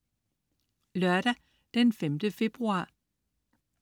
Lørdag den 5. februar